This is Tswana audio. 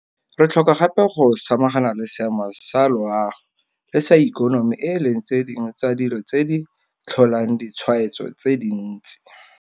Re tlhoka gape go samagana le seemo sa loago le sa ikonomi e leng tse dingwe tsa dilo tse di tlholang ditshwaetso tse dintsi.